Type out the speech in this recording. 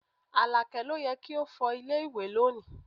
Alake ló yẹ kí o fọ ilé ìwẹ̀ lónìí